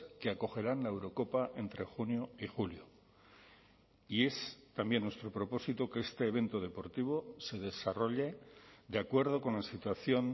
que acogerán la eurocopa entre junio y julio y es también nuestro propósito que este evento deportivo se desarrolle de acuerdo con la situación